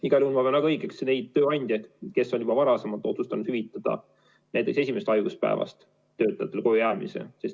Igal juhul ma pean väga õigesti tegutsejateks neid tööandjaid, kes on juba varem otsustanud hüvitada alates esimesest haiguspäevast töötajatele kojujäämise.